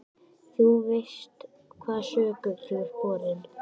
Þú veist hvaða sökum þú ert borinn.